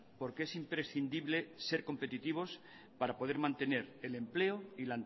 porque es imprescindible ser competitivos para poder mantener el empleo y